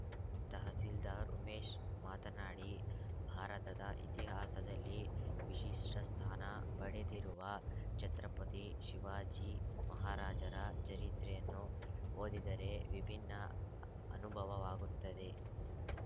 ತಹಸೀಲ್ದಾರ್‌ ಉಮೇಶ್‌ ಮಾತನಾಡಿ ಭಾರತದ ಇತಿಹಾಸದಲ್ಲಿ ವಿಶಿಷ್ಟಸ್ಥಾನ ಪಡೆದಿರುವ ಛತ್ರಪತಿ ಶಿವಾಜಿ ಮಹಾರಾಜರ ಚರಿತ್ರೆಯನ್ನು ಓದಿದರೆ ವಿಭಿನ್ನ ಅನುಭವವವಾಗುತ್ತದೆ